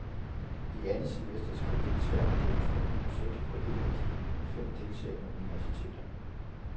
I andet semester skal deltagerne gennemføre et projekt på et af de fem deltagende universiteter.